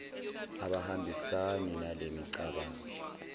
abahambisani nale micabango